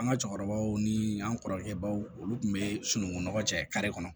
An ka cɛkɔrɔbaw ni an kɔrɔkɛ baw olu tun bɛ sunungunɔgɔ cɛ kare kɔnɔ